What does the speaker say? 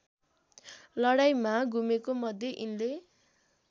लडाईँँमा गुमेकोमध्ये यिनले